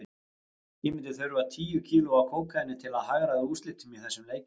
Ég myndi þurfa tíu kíló af kókaíni til að hagræða úrslitum í þessum leikjum.